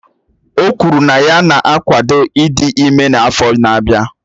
O kwuru na ya na-akwado ịdị ime n'afọ n'abia.